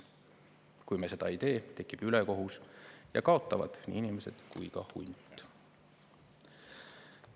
Kui me seda ei tee, tekib ülekohus ja kaotavad nii inimesed kui ka hunt.